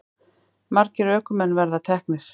Margir ökumenn verið teknir